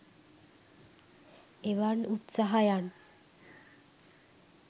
එවන් උත්සාහයන්